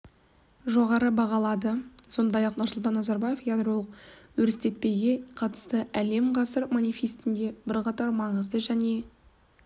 жоғары бағалады сондай-ақ нұрсұлтан назарбаев ядролық өрістетпейге қатысты әлем ғасыр манифестінде бір қатар маңызды және